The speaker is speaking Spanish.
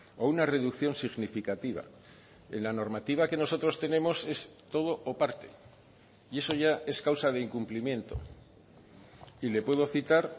o una reducción significativa en la normativa que nosotros tenemos es todo o parte y eso ya es causa de incumplimiento y le puedo citar